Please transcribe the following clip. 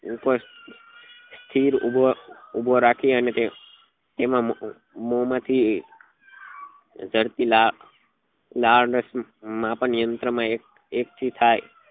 સ્થિર ઉભો ઉભો રાખી અને તે તેના મોમાં થી જરતી લાળ લાળરસ માપન યંત્ર માં એકથી થાય